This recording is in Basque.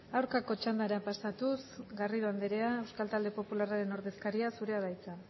aurkako txandara pasatuz garrido anderea euskal talde popularraren ordezkaria zurea da hitza